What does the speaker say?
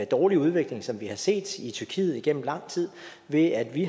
dårlige udvikling som vi har set i tyrkiet igennem lang tid ved at vi